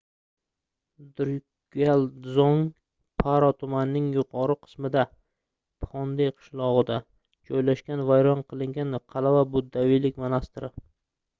drukgyal dzong — paro tumanining yuqori qismida phondey qishlog'ida joylashgan vayron qilingan qal'a va buddaviylik monastiri